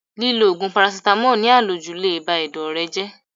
Lílọ Ògùn parasítámọ̀ ní à lòjù le bá Ẹ̀dọ̀ rẹ jẹ́.